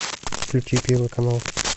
включи первый канал